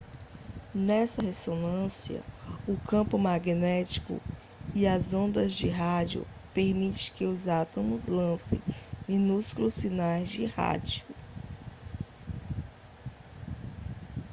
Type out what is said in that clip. nessa ressonância o campo magnético e as ondas de rádio permitem que os átomos lancem minúsculos sinais de rádio